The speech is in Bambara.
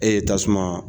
E ye tasuma